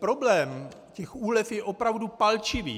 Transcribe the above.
Problém těch úlev je opravdu palčivý.